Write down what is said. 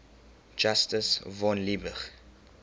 justus von liebig